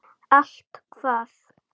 Allt hvað?